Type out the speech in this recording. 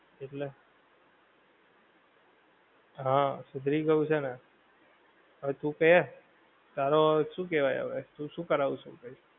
એટલે, હા સુધરી ગયું છે ને, હવે તું કે, તારો હવે શું કહેવાય હવે, શું કરાઉ છે પહી